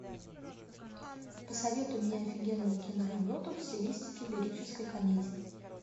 посоветуй мне офигенную киноработу в стилистике лирической комедии